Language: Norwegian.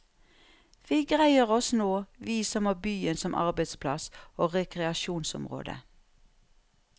Vi greier oss nå, vi som har byen som arbeidsplass og rekreasjonsområde.